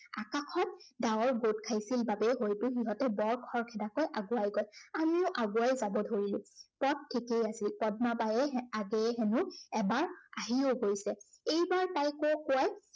ডাৱৰ গোট খাইছিল বাবেই হয়তো সিহঁতে বৰ খৰখেদাকৈ আগুৱাই গল। আমিও আগুৱাই যাব ধাৰিলো। পথ ঠিকেই আছিল। পদ্মাবাইয়ে আগেয়ে হেনো এবাৰ আহিও গৈছে। এইবাৰ তাইকে কোৱাই